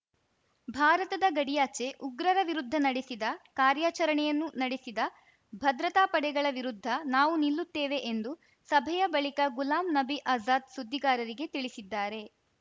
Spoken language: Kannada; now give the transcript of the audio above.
ಭಾರತದ ಗಡಿಯಾಚೆ ಉಗ್ರರ ವಿರುದ್ಧ ನಡೆಸಿದ ಕಾರ್ಯಾಚರಣೆಯನ್ನು ನಡೆಸಿದ ಭದ್ರತಾ ಪಡೆಗಳ ವಿರುದ್ಧ ನಾವು ನಿಲ್ಲುತ್ತೇವೆ ಎಂದು ಸಭೆಯ ಬಳಿಕ ಗುಲಾಮ್‌ ನಬಿ ಆಜಾದ್‌ ಸುದ್ದಿಗಾರರಿಗೆ ತಿಳಿಸಿದ್ದಾರೆ